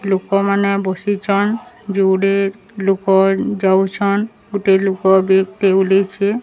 ଲୁକ ମାନେ ବସିଛନ୍ ଯୁଡ଼େ ଲୁକ ଯାଉଛନ୍ ଗୁଟେ ଲୁକ ବେକେ୍ ଟେ ଉଲେଇଛେ।